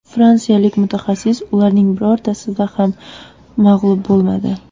Fransiyalik mutaxassis ularning birortasida ham mag‘lub bo‘lmadi.